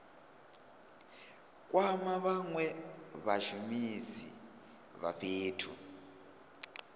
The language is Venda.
kwama vhanwe vhashumisi vha fhethu